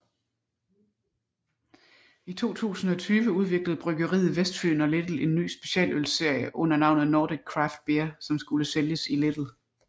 I 2020 udviklede Bryggeriet Vestfyen og Lidl en ny specialølsserie under navnet Nordic Craft Beer som skulle sælges i Lidl